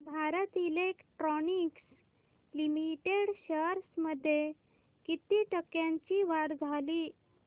Bharat electronics limited shares मध्ये किती टक्क्यांची वाढ झाली